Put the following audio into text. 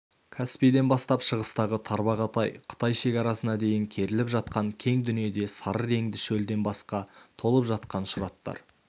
каспийден бастап шығыстағы тарбағатай қытай шекарасына дейін керіліп жатқан кең дүниеде сары реңді шөлден басқа толып жатқан шұраттар